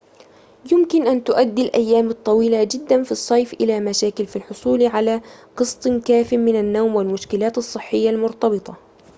يمكن أن تؤدي الأيام الطويلة جدًا في الصيف إلى مشاكل في الحصول على قسط كافٍ من النوم والمشكلات الصحية المرتبطة